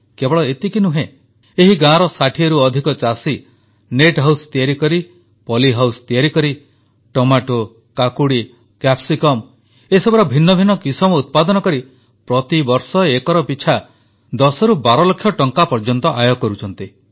କେବଳ ଏତିକି ନୁହେଁ ଏହି ଗାଁର 60ରୁ ଅଧିକ ଚାଷୀ ନେଟ୍ ହାଉସ ତିଆରି କରି ପୋଲି ହାଉସ ତିଆରି କରି ଟମାଟୋ କାକୁଡ଼ି କ୍ୟାପ୍ସିକମ୍ ଏସବୁର ଭିନ୍ନ ଭିନ୍ନ କିସମ ଉତ୍ପାଦନ କରି ପ୍ରତିବର୍ଷ ଏକର ପିଛା 10ରୁ 12 ଲକ୍ଷ ଟଙ୍କା ପର୍ଯ୍ୟନ୍ତ ଆୟ କରୁଛନ୍ତି